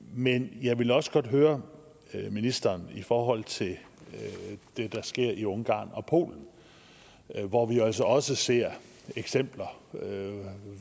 men jeg vil også godt høre ministeren i forhold til det der sker i ungarn og polen hvor vi altså også ser eksempler